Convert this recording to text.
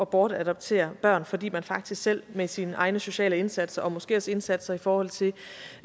bortadoptere børn fordi man faktisk selv med sine egne sociale indsatser og måske også indsatser i forhold til